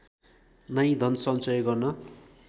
नै धनसञ्चय गर्न